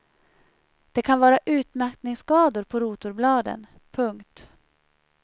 Det kan vara utmattningsskador på rotorbladen. punkt